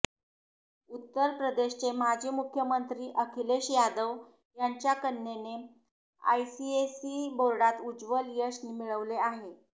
उत्तर प्रदेशचे माजी मुख्यमंत्री अखिलेश यादव यांच्या कन्येने आयसीएसई बोर्डात उज्ज्वल यश मिळवले आहे